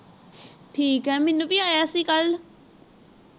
ਠੀਕ ਹੈ ਮੈਨੂੰ ਵੀ ਆਯਾ ਸੀ ਕਲ